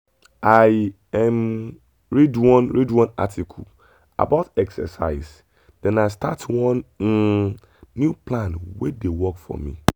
i um read one read one article about exercise then i start one um new plan wey dey work for me.